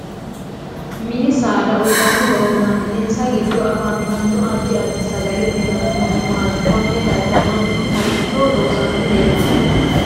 Mini saada uyiitanno horo maat insa giddoni afantano addi addi sagale uyiitanno horo maati konne darga manchu maricho loosani leelanno